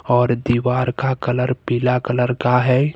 और दीवार का कलर पीला कलर का है।